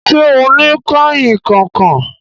Ṣẹ́ ọ ni kanrínnkan kan?